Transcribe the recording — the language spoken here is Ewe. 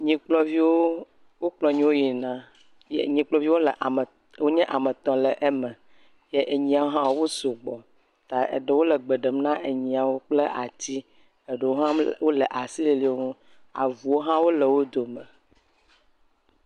Nyikplɔviwo, wokplɔ nyiwo yina. Nyikplɔviwo le ame, wonye ame tɔ̃ le eme ye enyiwo hã wos ugbɔ ye eɖewo le gbe ɖem na nyiwo kpl ati. Eɖewo hã wole asi lili wo ŋu, avuwo hã wole wo dome.